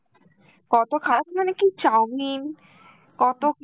কত খা~ মানে কি চাওমিন, কত কি